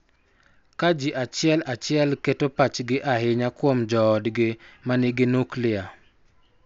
Ka ji achiel achiel keto pachgi ahinya kuom joodgi ma nigi nuklia.